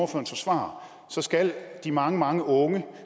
forsvarer skal de mange mange unge